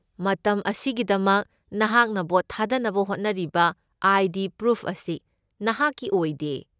ꯃꯇꯝ ꯑꯁꯤꯒꯤꯗꯃꯛ ꯅꯍꯥꯛꯅ ꯚꯣꯠ ꯊꯥꯗꯅꯕ ꯍꯣꯠꯅꯔꯤꯕ ꯑꯥꯏ.ꯗꯤ. ꯄ꯭ꯔꯨꯐ ꯑꯁꯤ ꯅꯍꯥꯛꯀꯤ ꯑꯣꯏꯗꯦ꯫